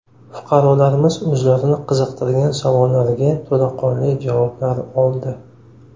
Fuqarolarimiz o‘zlarini qiziqtirgan savollariga to‘laqonli javoblar oldi.